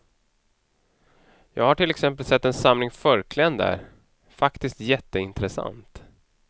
Jag har till exempel sett en samling förkläden där, faktiskt jätteintressant.